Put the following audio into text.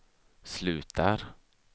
slutar